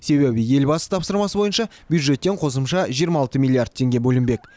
себебі елбасы тапсырмасы бойынша бюджеттен қосымша жиырма алты миллиярд теңге бөлінбек